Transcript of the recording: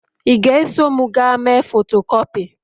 ị ga-eso m gaa mee fotokopi?